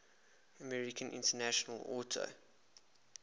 american international auto